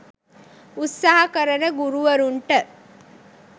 උත්සහ කරන ගුරුවරුන්ට